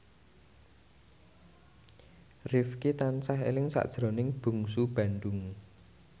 Rifqi tansah eling sakjroning Bungsu Bandung